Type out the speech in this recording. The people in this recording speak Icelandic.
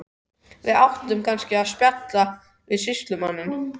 Að við ættum kannski að spjalla við sýslumanninn.